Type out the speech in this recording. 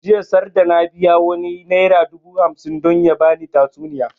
Jiya sarda na biya wani naira dubu hamsin don ya bani tatsuniya